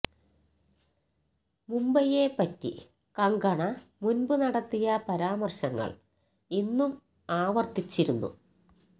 മുംബൈയെ പറ്റി കങ്കണ മുൻപ് നടത്തിയ പരാമർശങ്ങൾ ഇന്നും ആവർത്തിച്ചിരുന്നു